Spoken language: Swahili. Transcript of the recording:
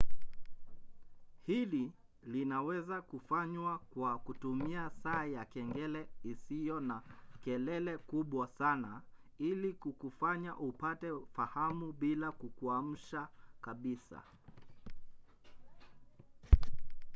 hili linaweza kufanywa kwa kutumia saa ya kengele isiyo na kelele kubwa sana ili kukufanya upate fahamu bila kukuamsha kabisa